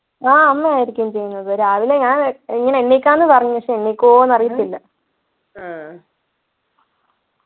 ആഹ് അമ്മയായിരിക്കും ചെയ്യുന്നത് രാവിലെ ഞാൻ എങ്ങനെ എണീക്കാം ന്നു പറഞ്ഞു പക്ഷെ എണീക്കുമോ ന്നു അറിയത്തില്ല